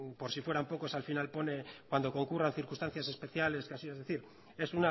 por si fueran pocos al final pone cuando concurra circunstancias especiales que así son es decir es